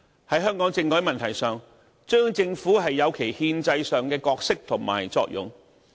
"在香港政改問題上，中央政府有其憲制上的角色和作用。